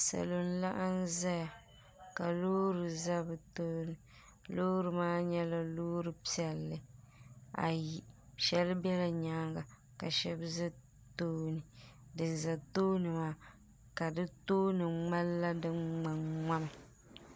Salo n laɣim zaya ka Loori za bɛ tooni loori maa nyɛla Loori piɛlli ayi sheli bela nyaanga ka sheba za tooni dinza tooni maa ka di tooni ŋmanila di ŋmanŋmami.